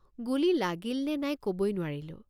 গুলী লাগিল নে নাই কবই নোৱাৰিলোঁ।